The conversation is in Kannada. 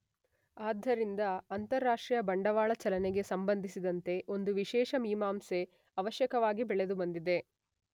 ಆದ್ದರಿಂದ ಅಂತಾರಾಷ್ಟ್ರೀಯ ಬಂಡವಾಳ ಚಲನೆಗೆ ಸಂಬಂಧಿಸಿದಂತೆ ಒಂದು ವಿಶೇಷ ಮೀಮಾಂಸೆ ಆವಶ್ಯಕವಾಗಿ ಬೆಳೆದುಬಂದಿದೆ.